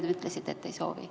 Te ütlesite, et te ei soovi.